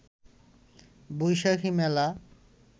বৈশাখী মেলা